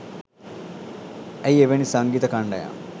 ඇයි එවැනි සංගීත කණ්ඩායම්